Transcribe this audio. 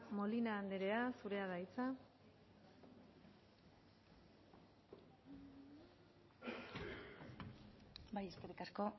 molina andrea zurea da hitza bai eskerrik asko